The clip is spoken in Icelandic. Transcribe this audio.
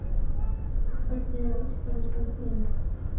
Hvernig er íslenskan þín?